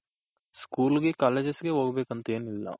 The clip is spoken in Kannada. school ಗೆ colleges ಗೆ ಹೊಗ್ಬೆಕ್ ಅಂತ ಏನಿಲ್ಲ